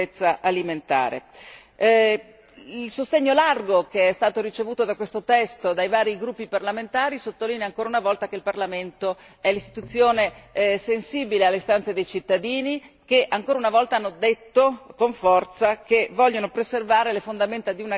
Il sostegno largo che è stato ricevuto da questo testo dai vari gruppi parlamentari sottolinea ancora una volta che il Parlamento è un'istituzione sensibile alle istanze dei cittadini, che ancora una volta hanno detto con forza che vogliono preservare le fondamenta di un'agricoltura sana, sicura e di qualità.